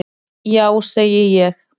Já segi ég.